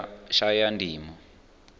shayandima